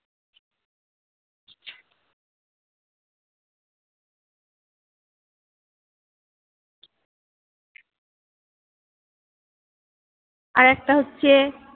আর একটা হচ্ছে